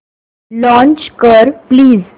launch कर please